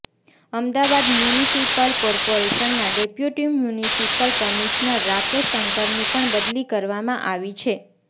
Ahmedabad municipal કોર્પોરેશનના deputy municipal commissioner Rakesh શંકરની પણ બદલી કરવામાં આવી છે